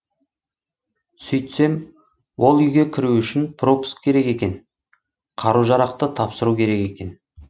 сөйтсем ол үйге кіру үшін пропуск керек екен қару жарақты тапсыру керек екен